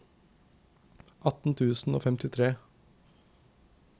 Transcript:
atten tusen og femtifire